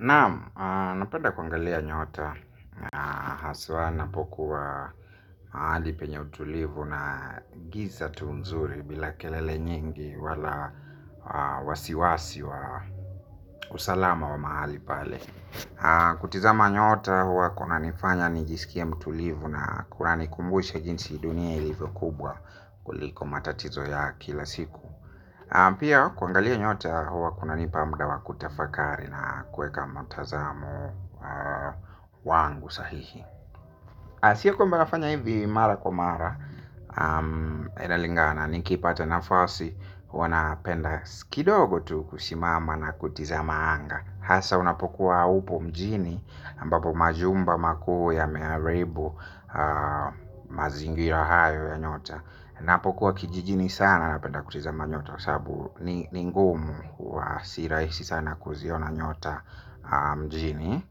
Naam, napenda kuangalia nyota, haswa napokuwa mahali penye utulivu na giza tu nzuri bila kelele nyingi wala wasiwasi wa usalama wa mahali pale. Kutizama nyota huwa kuna nifanya nijisikie mtulivu na kunani kumbusha jinsi dunia ilivyo kubwa kuliko matatizo ya kila siku. Pia kuangalia nyota huwa kuna nipa mda wa kutafakari na kueka matazamo wangu sahihi. Sio kwamba nafanya hivi mara kwa mara. Inalingana ni kipata nafasi. Huwana penda skidogo tu kusimama na kutizama anga. Hasa unapokuwa upo mjini ambapo majumba makuu yameharibu. Mazingira hayo ya nyota napokuwa kijijini sana na penda kutiza ma nyota. Saabu ni ngumu wa si rahisi sana kuziona nyota mjini.